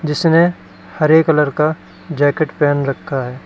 जिसने हरे कलर का जैकेट पहन रखा है।